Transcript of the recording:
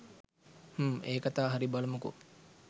හ්ම් ඒ කතා හරි බලමුකෝ